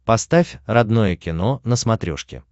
поставь родное кино на смотрешке